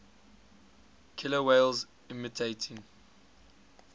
killer whales imitating